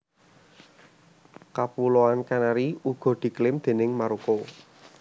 Kapuloan Canary uga diklaim déning Maroko